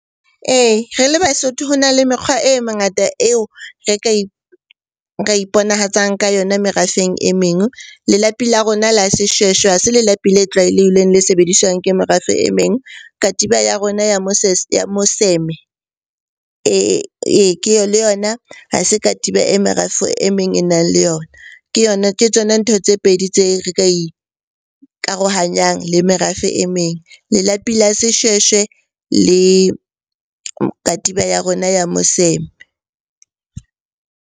Ee, re le Basotho ho na le mekgwa e mengata eo ra iponahatsang ka yona merafe e meng. Lelapi la rona la seshweshwe ha se lelapi le tlwaelehileng le sebediswang ke merafe e meng. Katiba ya rona ya moseme ee, le yona ha se katiba e merafo e meng e nang le yona. Ke yona, ke tsona ntho tse pedi tse re ka ikarohanyang le merafe e meng. Lelapi la seshweshwe le katiba ya rona ya moseme.